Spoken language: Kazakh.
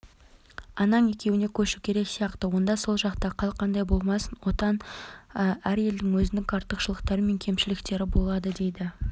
анаң екеуіне көшу керек сияқты онда сол жақта қал қандай болмасын отан олотан әр елдің өзіндік артықшылықтары мен кемшіліктері болады дейді